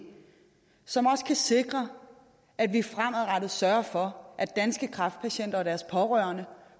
så vi også kan sikre at vi fremadrettet sørger for at danske kræftpatienter og deres pårørende